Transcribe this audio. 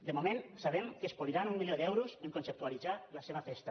de moment sabem que es poliran un mi·lió d’euros a conceptualitzar la seva festa